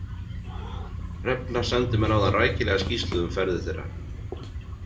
Hrefna sendi mér áðan rækilega skýrslu um ferðir þeirra.